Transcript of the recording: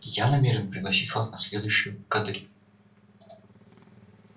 я намерен пригласить вас на следующую кадриль